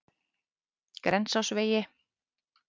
Grensásvegi